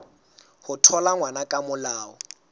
ho thola ngwana ka molao